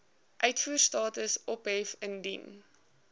uitvoerstatus ophef indien